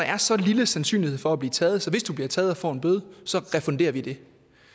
er så lille sandsynlighed for at blive taget at hvis du bliver taget og får en bøde så refunderer vi det